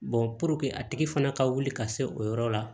a tigi fana ka wuli ka se o yɔrɔ la